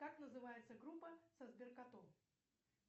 как называется группа со сберкотом